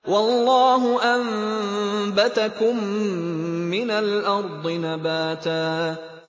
وَاللَّهُ أَنبَتَكُم مِّنَ الْأَرْضِ نَبَاتًا